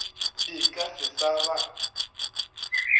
di ka se sa ba